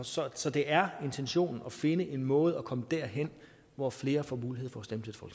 så så det er intentionen at finde en måde at komme derhen hvor flere får mulighed for